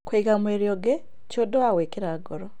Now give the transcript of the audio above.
Kũiga mwĩrĩ ũngĩ ti ũndũ wa gwĩkĩra ngoro.